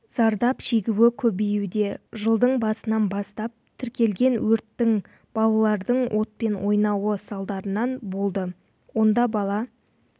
зардап шегуі көбеюде жылдың басынан бастап тіркелген өрттің балалардың отпен ойнауы салдарынан болды онда бала